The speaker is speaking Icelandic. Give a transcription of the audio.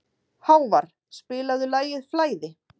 Hávarr, spilaðu lagið „Flæði“.